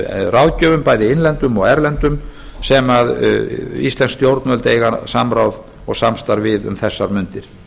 ráðgjöfum bæði innlendum og erlendum sem íslensk stjórnvöld eiga samráð og samstarf við um þessar mundir